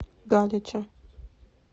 галича